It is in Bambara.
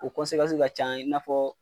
O ka can i n'a fɔ